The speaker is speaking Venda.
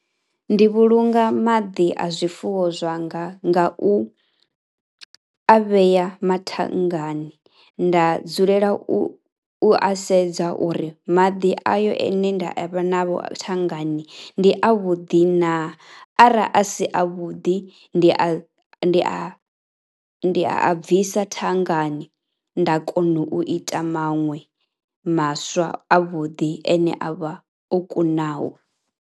Ndi vhulunga maḓi a zwifuwo zwanga nga u a vheya mathangani, nda dzulela u sedza uri maḓi eyo ane nda vha nao thanngani ndi avhuḓi naa, arali a si avhuḓi ndi a, ni a, ndi a a bvisa thanngani nda kona u ita maṅwe maswa avhuḓi ene a vha o kunaho.